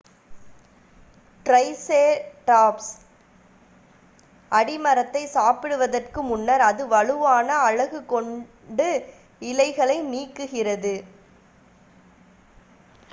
triceratops அடிமரத்தை சாப்பிடுவதற்கு முன்னர் அதன் வலுவான அலகு கொண்டு இலைகளை நீக்குகிறது